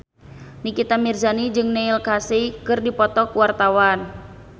Nikita Mirzani jeung Neil Casey keur dipoto ku wartawan